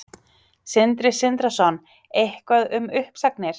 Sindri Sindrason: Eitthvað um uppsagnir?